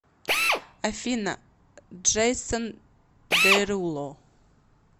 афина джейсон деруло